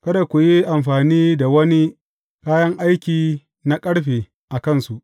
Kada ku yi amfani da wani kayan aiki na ƙarfe a kansu.